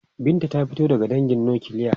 Binta ta fito daga dangin nukiliya.